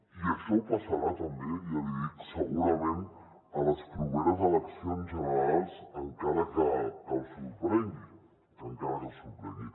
i això passarà també ja li dic segurament a les properes eleccions generals encara que els sorprengui encara que els sorprengui